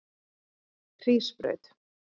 Hrísbraut